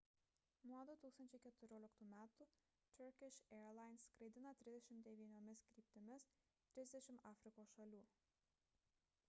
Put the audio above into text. nuo 2014 m turkish airlines skraidina 39 kryptimis 30 afrikos šalių